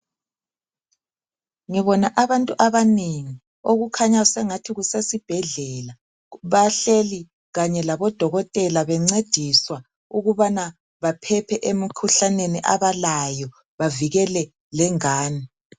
Ngibona abantu abanengi okukhanya sengathi kusesibhedlela bahleli kanye labodokotela bencediswa ukubana baphephe emikhuhlaneni abalayo bavikele lengane .